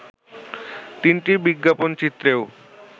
তিনটি বিজ্ঞাপনচিত্রেও